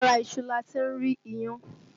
Lára iṣu lati rí iyán